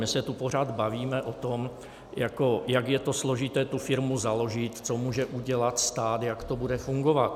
My se tu pořád bavíme o tom, jak je to složité tu firmu založit, co může udělat stát, jak to bude fungovat.